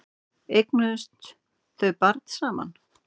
Eignuðust þau barn saman?